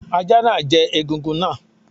Ajá náà jẹ egungun náà.